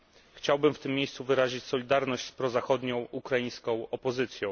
Chciałbym w tym miejscu wyrazić solidarność z prozachodnią ukraińską opozycją.